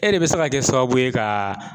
E de bɛ se ka kɛ sababu ye ka